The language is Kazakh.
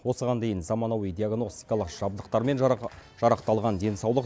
осыған дейін заманауи диагностикалық жабдықтармен жарақталған денсаулық